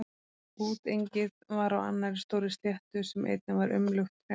Útengið var á annarri stórri sléttu sem einnig var umlukt trjám.